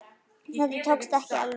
Þetta tókst ekki alveg.